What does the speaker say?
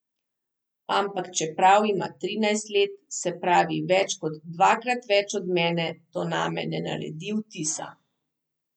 Ampak čeprav ima trinajst let, se pravi več kot dvakrat več od mene, to name ne naredi vtisa!